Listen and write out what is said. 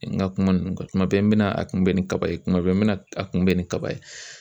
N ka kuma ninnu kan kuma bɛɛ n bɛ a kunbɛ ni kaba ye kuma bɛɛ n bɛ a kunbɛ ni kaba ye